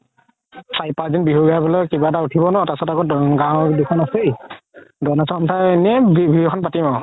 কিবা এটা উথিব ন তাৰ পিছত আৰু গাওৰ দুখন আছেই donation পাই এনে বিহু এখন পাতিম আৰু